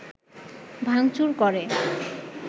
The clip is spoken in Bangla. ভাঙচুর করে